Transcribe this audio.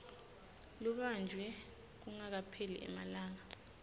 lubanjwe kungakapheli emalanga